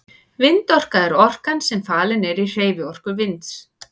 Vindorka er orkan sem falin er í hreyfiorku vinds.